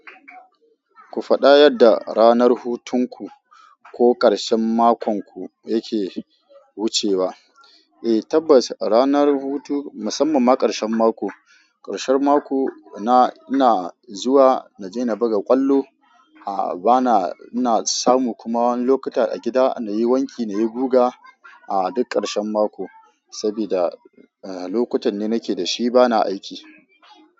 Ku faɗa yadda ranar hutunku ko ƙarshen makonku yake wucewa. Eh tabbas ranar hutu musamman ma ƙarshen mako, ƙarshen mako na ina zuwa na je na buga ƙwallo, a bana ina samu kuma wani lokuta a gida na yi wanki na yi guga a duk ƙarshen mako sabida lokutan da nake da shi bana aiki.